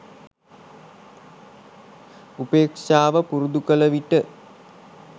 උපේක්ෂාව පුරුදු කළ විට